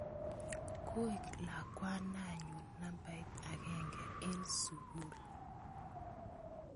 Koik lakwananyun nabait agenge en sukul.